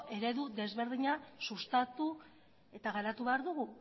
eredu ezberdina sustatu eta garatu behar dugu